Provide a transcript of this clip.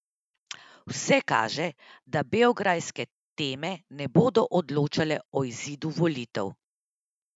Vse kaže, da beograjske teme ne bodo odločale o izidu volitev.